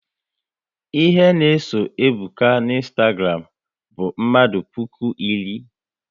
Ihe na eso Ebuka na Ịnstagram bụ mmadụ puku iri